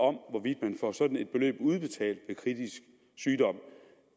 om man får sådan et beløb udbetalt